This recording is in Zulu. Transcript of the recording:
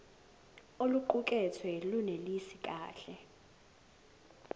oluqukethwe lunelisi kahle